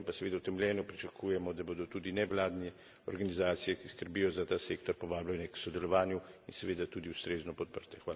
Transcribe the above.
Pri tem pa seveda utemeljeno pričakujemo, da bodo tudi nevladne organizacije, ki skrbijo za ta sektor, povabljene k sodelovanju in seveda tudi ustrezno podprte.